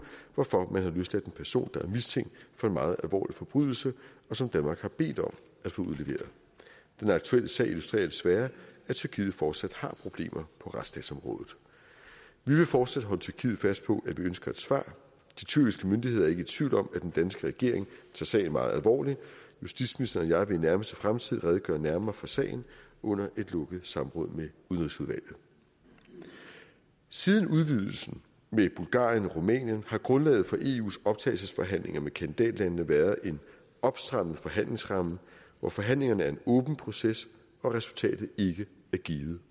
hvorfor man har løsladt en person der er mistænkt for en meget alvorlig forbrydelse og som danmark har bedt om at få udleveret den aktuelle sag illustrerer desværre at tyrkiet fortsat har problemer på retsstatsområdet vi vil fortsat holde tyrkiet fast på at vi ønsker et svar de tyrkiske myndigheder er ikke i tvivl om at den danske regering tager sagen meget alvorligt justitsministeren og jeg vil i nærmeste fremtid redegøre nærmere for sagen under et lukket samråd med udenrigsudvalget siden udvidelsen med bulgarien og rumænien har grundlaget for eus optagelsesforhandlinger med kandidatlandene været en opstrammet forhandlingsramme hvor forhandlingerne er en åben proces og resultatet ikke er givet